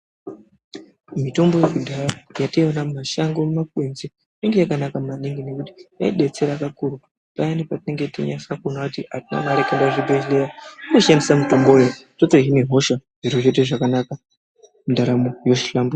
Mitombo yekudhaya yataiona mumashango mumakwenzi yanga yakanaka maningi nekuti yaidetsera kakurutu payani petinenge teinyatsakuona kuti hatina mare yekuenda kuchibhehleya, kutoshandisa mutombo uyoyo, totohine hosha, zviro zvoite zvakanaka, ndaramo yohlamburuka.